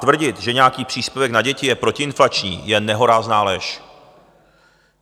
Tvrdit, že nějaký příspěvek na děti je protiinflační, je nehorázná lež.